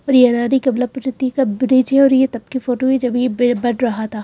और ये रानी कबलापति का ब्रिज है और ये तब की फोटो है जब ये बन रहा था।